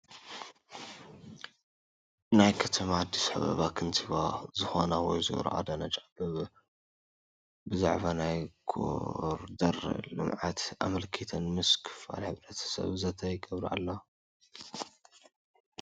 ናይ ከተማ ኣዲስ ኣባባ ከንቲባ ዝኾና ወይዘሮ ኣዳነች ኣበቤ ብዛዕባ ናይ ኮሪደር ልምዓት ኣመልኪተን ምስ ክፋል ሕብረተሰብ ዘተ ይገብራ ኣለዋ፡፡